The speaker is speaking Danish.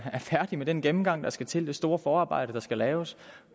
færdig med den gennemgang der skal til og det store forarbejde der skal laves